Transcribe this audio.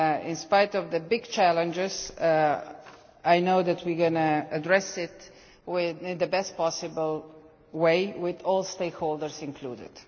In spite of the big challenges, I know that we are going to address it in the best possible way, with all stakeholders included.